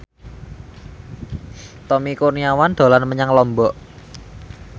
Tommy Kurniawan dolan menyang Lombok